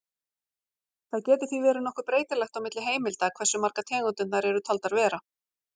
Það getur því verið nokkuð breytilegt á milli heimilda hversu margar tegundirnar eru taldar vera.